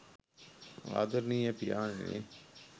ආදරණීය පියාණෙනි